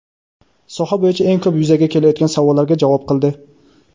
soha bo‘yicha eng ko‘p yuzaga kelayotgan savollarga javob qildi.